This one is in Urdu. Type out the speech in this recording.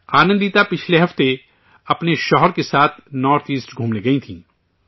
آنندتا پچھلے ہفتے اپنے شوہر کے ساتھ نارتھ ایسٹ گھومنے گئی تھیں